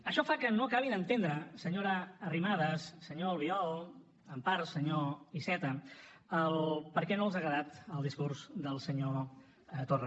això fa que no acabi d’entendre senyora arrimadas senyor albiol en part senyor iceta el per què no els ha agradat el discurs del senyor torra